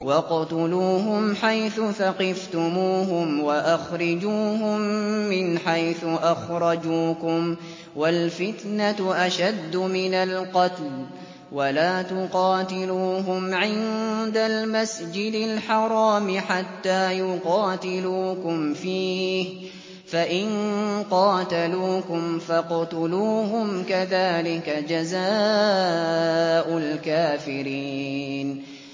وَاقْتُلُوهُمْ حَيْثُ ثَقِفْتُمُوهُمْ وَأَخْرِجُوهُم مِّنْ حَيْثُ أَخْرَجُوكُمْ ۚ وَالْفِتْنَةُ أَشَدُّ مِنَ الْقَتْلِ ۚ وَلَا تُقَاتِلُوهُمْ عِندَ الْمَسْجِدِ الْحَرَامِ حَتَّىٰ يُقَاتِلُوكُمْ فِيهِ ۖ فَإِن قَاتَلُوكُمْ فَاقْتُلُوهُمْ ۗ كَذَٰلِكَ جَزَاءُ الْكَافِرِينَ